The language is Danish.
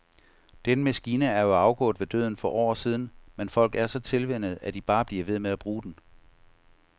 Den maskine er jo afgået ved døden for år siden, men folk er så tilvænnet, at de bare bliver ved med at bruge den.